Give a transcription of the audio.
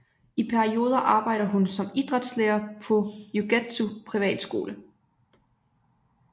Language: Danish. I perioder arbejder hun som idrætslærer på Yougetsu Privatskole